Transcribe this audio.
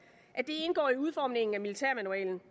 indgå i udformningen af militærmanualen